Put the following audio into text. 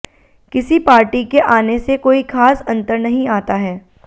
किसी पार्टी के आने से कोई ख़ास अंतर नहीं आता है